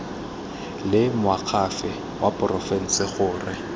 le moakhaefe wa porofense gore